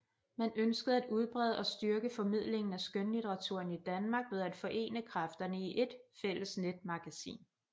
Man ønskede at udbrede og styrke formidlingen af skønlitteraturen i Danmark ved at forene kræfterne i ét fælles netmagasin